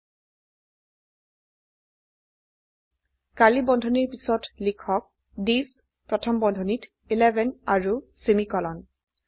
curly বন্ধনীৰ পিছত লিখক থিচ প্ৰথম বন্ধনীত 11 আৰু সেমিকোলন